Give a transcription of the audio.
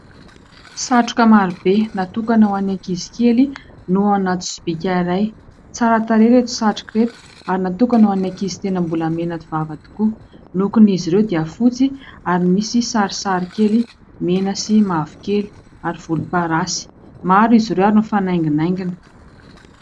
Satroka maro be natokana ho an'ny ankizy kely no anaty sobika iray. Tsara tarehy ireto satroka ireto ary natokana ho an'ny ankizy tena mbola menavava tokoa. Ny lokony izy ireo dia fotsy ary nisy sarisary kely mena sy mavokely ary volomparasy ; maro izy ireo ary mifanainginaingina.